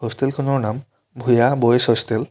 হোষ্টেলখনৰ নাম Bhuyan boys hostel.